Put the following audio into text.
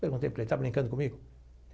Perguntei para ele, está brincando comigo?